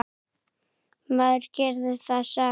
Maður gerði það samt.